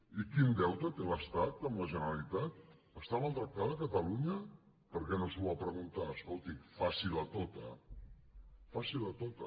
i quin deute té l’estat amb la generalitat està maltractada catalunya per què no s’ho va preguntar escolti facila tota facila tota